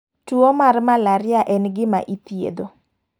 Tuo mar malaria en gima ithietho.